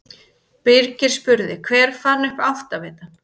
Birgir spurði: Hver fann upp áttavitann?